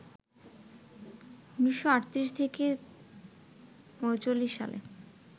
১৯৩৮-৩৯ সালে